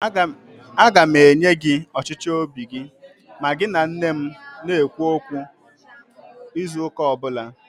Aga m enye gị ọchịchọ óbì gị ma gị na nne m na -ekwu okwu izu ụ́kà ọbụla